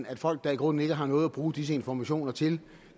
at folk der i grunden ikke har noget at bruge disse informationer til